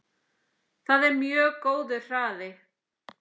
Það er mjög góður hraði.